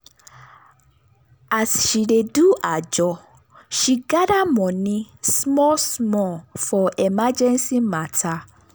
as she dey do ajo she dey gather money small small for emergency matter.